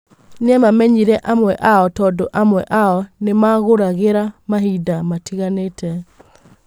Nĩ amamenyĩre amwe ao tondũamwe ao nĩmamũgũragĩra mahinda matiganĩte.